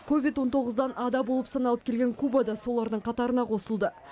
ковид он тоғыздан ада болып саналып келген куба да солардың қатарына қосылды